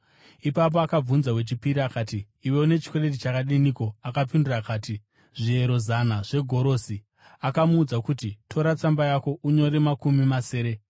“Ipapo akabvunza wechipiri akati, ‘Iwe une chikwereti chakadiniko?’ “Akapindura akati, ‘Zviero zana zvegorosi.’ “Akamuudza kuti, ‘Tora tsamba yako unyore makumi masere.’